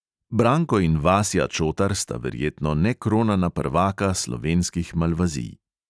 Branko in vasja čotar sta verjetno nekronana prvaka slovenskih malvazij.